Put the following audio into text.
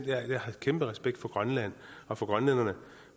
jeg har kæmpe respekt for grønland og for grønlænderne